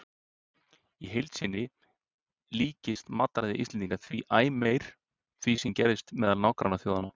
Í heild líkist matarræði Íslendinga því æ meir því sem gerist meðal nágrannaþjóðanna.